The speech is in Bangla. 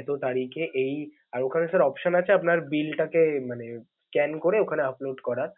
এতো তারিখে, এই আর ওখানে option আপনার bill টাকে মানে scan করে ওখানে upolad করার।